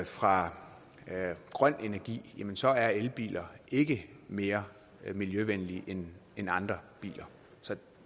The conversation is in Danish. fra grøn energi jamen så er elbiler ikke mere miljøvenlige end end andre biler så